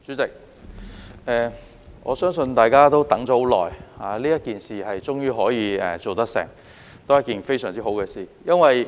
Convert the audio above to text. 代理主席，我相信大家等了很久，這件事終於做得成，都是一件非常好的事。